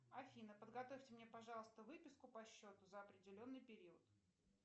афина подготовьте мне пожалуйста выписку по счету за определенный период